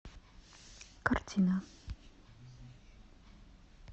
картина